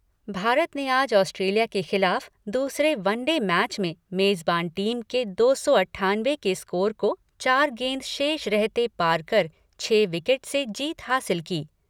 भारत ने आज ऑस्ट्रेलिया के खिलाफ दूसरे वनडे मैच में मेजबान टीम के दो सौ अट्ठानवे के स्कोर को चार गेंद शेष रहते पार कर छह विकेट से जीत हासिल की।